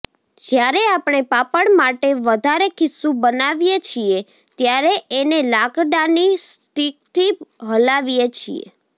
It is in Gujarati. જયારે આપણે પાપડ માટે વધારે ખીચું બનાવીએ છીએ ત્યારે એને લાકડાની સ્ટીકથી હલાવીએ છીએ